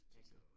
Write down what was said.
Altså